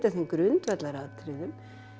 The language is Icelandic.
þeim grundvallaratriðum